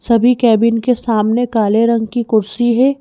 सभी कैबिन के सामने काले रंग की कुर्सी है।